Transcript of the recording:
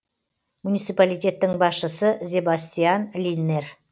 муниципалитеттің басшысы зебастиан линнер